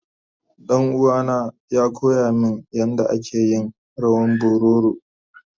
Danuwa na ya koya min yanda ake yin rawan bororo.